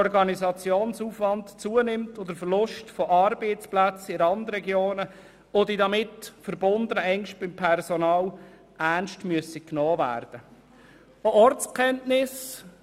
Weiter erwähnt er den Verlust von Arbeitsplätzen in den Randregionen und dass die damit verbundenen Ängste beim Personal ernstgenommen werden müssten.